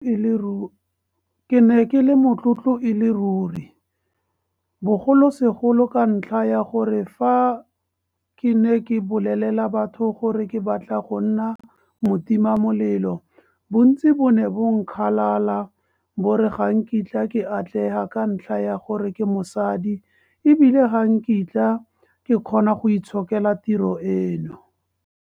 Ke ne ke le motlotlo e le ruri, bogolosegolo ka ntlha ya gore fa ke ne ke bolelela batho gore ke batla go nna motimamelelo, bontsi bo ne bo nkgalala bo re ga nkitla ke atlega ka ntlha ya gore ke mosadi e bile ga nkitla ke kgona go itshokela tiro eno.